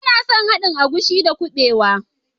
Bana son haɗin agushi da kubewa